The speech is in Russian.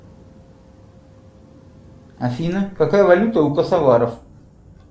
афина какая валюта у косоваров